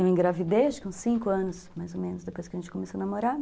Eu engravidei, acho que uns cinco anos, mais ou menos, depois que a gente começou a namorar.